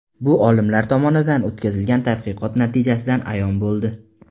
Bu olimlar tomonidan o‘tkazilgan tadqiqot natijasidan ayon bo‘ldi.